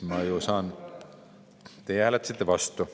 Teie hääletasite vastu.